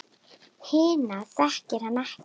Hina þekkir hann ekki.